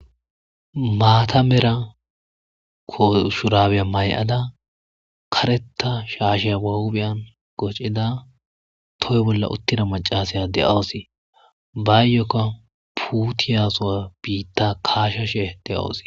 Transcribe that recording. Aata Mera Shurabiya mayada karetha shaashiya ba huphiyan qacida toho bolla utida macisha de'awusi ,bayoka puutiya sowa biita kaashashe de'awusi.